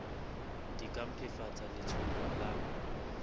di ka mpefatsa letshollo la